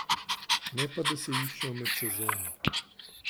Ne pa, da se iščejo med sezono.